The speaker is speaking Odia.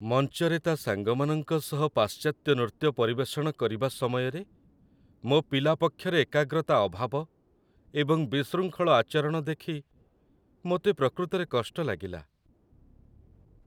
ମଞ୍ଚରେ ତା' ସାଙ୍ଗମାନଙ୍କ ସହ ପାଶ୍ଚାତ୍ୟ ନୃତ୍ୟ ପରିବେଷଣ କରିବା ସମୟରେ, ମୋ ପିଲା ପକ୍ଷରେ ଏକାଗ୍ରତା ଅଭାବ ଏବଂ ବିଶୃଙ୍ଖଳ ଆଚରଣ ଦେଖି ମୋତେ ପ୍ରକୃତରେ କଷ୍ଟ ଲାଗିଲା।